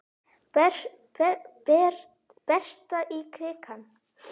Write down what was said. Berta í krikann?